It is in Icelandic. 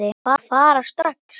Ertu að fara strax?